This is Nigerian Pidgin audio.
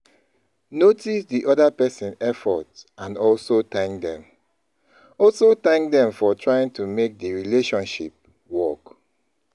Notice di oda person effort and also thank them also thank them for trying to make di relationship work